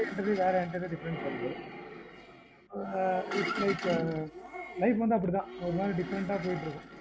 entirely difference its like life வந்து அப்படிதான் ஒரு மாறி different ஆஹ் போயிட்டு இருக்கும்